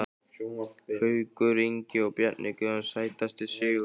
Haukur Ingi og Bjarni Guðjóns Sætasti sigurinn?